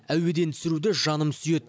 әуеден түсіруді жаным сүйеді